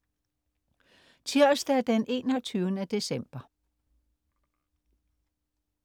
Tirsdag den 21. december